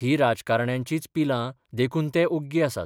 हीं राजकारण्यांचींच पिलां देखून ते ओग्गी आसात.